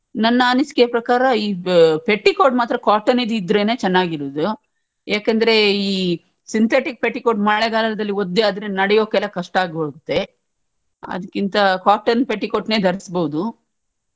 ನನ್ನ ಅನಿಸಿಕೆಯ ಪ್ರಕಾರ ಈ petticoat ಮಾತ್ರ cotton ನೀದ್ರೆನೇ ಚನ್ನಾಗಿರುದು ಯಾಕಂದ್ರೆ ಈ synthetic petticoat ಈ ಮಳೆಗಾಲದಲ್ಲಿ ಒದ್ದೆ ಆದ್ರೆ ನಡಿಯೋಕ್ಕೆಲ್ಲಾ ಕಷ್ಟ ಆಗೋಗುತ್ತೆ ಅದ್ಕಿಂತ cotton petticoat ನೇ ಧರಿಸ್ಬೋದು.